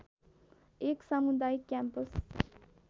एक सामुदायिक क्याम्पस